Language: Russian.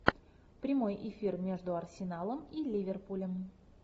прямой эфир между арсеналом и ливерпулем